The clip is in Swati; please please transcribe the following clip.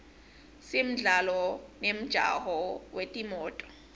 simdlalo nemjaho wetimoto